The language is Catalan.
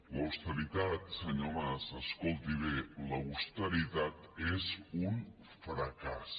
l’austeritat senyor mas escolti ho bé l’austeritat és un fracàs